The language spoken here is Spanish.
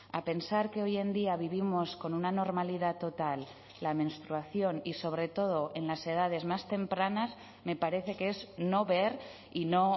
a pensar que hoy en día vivimos con una normalidad total la menstruación y sobre todo en las edades más tempranas me parece que es no ver y no